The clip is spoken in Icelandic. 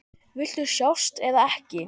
Viltu sjást eða ekki?